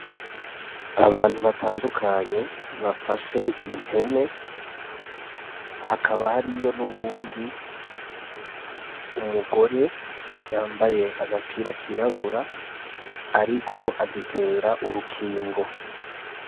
Abantu batandukanye bafashe impene hakaba hari yo n’uwundi umugore yambaye agapira kirabura, ariko azitera urukingo.